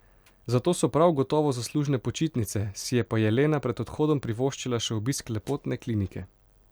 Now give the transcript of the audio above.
Za to so prav gotovo zaslužne počitnice, si je pa Jelena pred odhodom privoščila še obisk lepotne klinike.